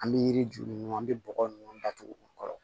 An bɛ yiri ju ɲini an bɛ bɔgɔ ninnu datugu u kɔrɔ